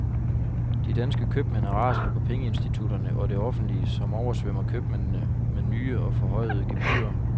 De danske købmænd er rasende på pengeinstitutterne og det offentlige, som oversvømmer købmændene med nye og forhøjede gebyrer.